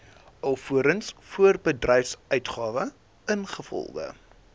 alvorens voorbedryfsuitgawes ingevolge